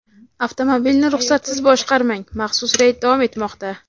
avtomobilni ruxsatsiz boshqarmang – maxsus reyd davom etmoqda.